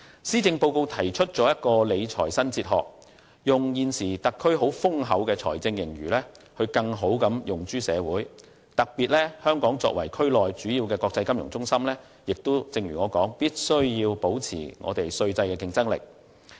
施政報告提出理財新哲學，把現時特區政府坐擁的豐厚財政盈餘更好地用諸社會，特別是香港作為區內主要的國際金融中心，必須如我剛才所說，保持稅制的競爭力。